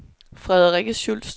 Frederikke Schultz